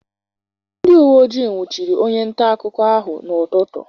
Ndị uweojii nwụchiri onye ntaakụkọ ahụ n'ụtụtụ.